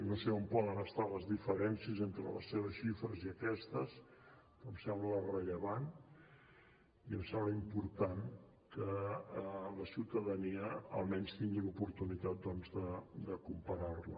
no sé on poden estar les diferències entre les seves xifres i aquestes però em sembla rellevant i em sembla important que la ciutadania almenys tingui l’oportunitat doncs de comparar les